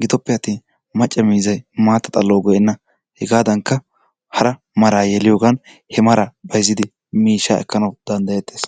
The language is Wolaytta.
Gidoppeattin macca miizzay maatta xallawu go'enna hegaadaanikka hara maraa yeliyogan he mara bayizzidi miishshaa ekkanawu danddayettes.